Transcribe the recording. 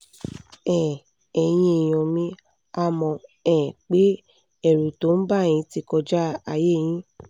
um ẹ̀yin èèyàn mi a mọ̀ um pé ẹ̀rù tó ń bà yín ti kọjá àyè yín